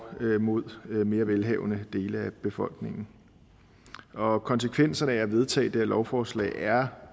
mod mere velhavende dele af befolkningen og konsekvenserne af at vedtage det her lovforslag er